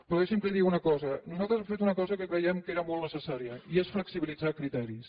però deixi’m que li digui una cosa nosaltres hem fet una cosa que creiem que era molt necessària i és flexibilitzar criteris